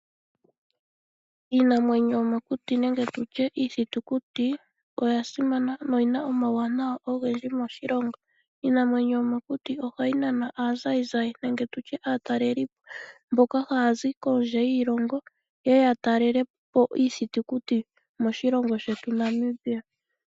Iinamwenyo yomokuti nenge tutye iithitukuti oyasimana no oyina omauwanawa ogendji moshilongo ohayi nana aazayizayi nenge aatalelipo mboka haya zi kondje yiilongo yeye yatalelepo iithitukuti moshilongo shetu Namibia.